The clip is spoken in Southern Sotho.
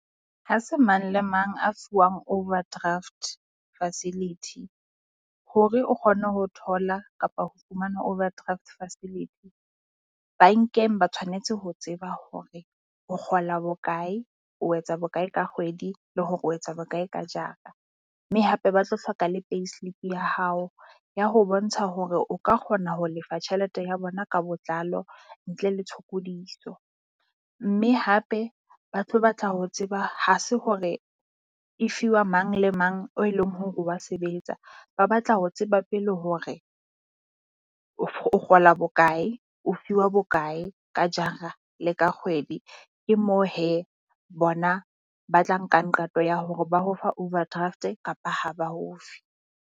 Ha se mang le mang a fuwang overdraft facility, hore o kgone ho thola kapo ho fumana overdraft facility. Bankeng ba tshwanetse ho tseba hore o kgola bokae, o etsa bokae ka kgwedi le hore o etsa bokae ka jara. Mme hape ba tlo hloka le payslip ya hao ya ho bontsha hore o ka kgona ho lefa tjhelete ya bona ka botlalo ntle le tshokodiso. Mme hape ba tlo batla ho tseba ha se hore e fiwa mang le mang oe leng hore wa sebetsa. Ba batla ho tseba pele hore o o kgola bokae, o fiwa bokae ka jara le ka kgwedi, ke moo hee bona ba tla nkang qeto ya hore ba o fa overdraft kapa ha ba o fe.